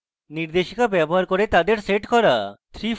নির্দেশিকা ব্যবহার করে তাদের set করা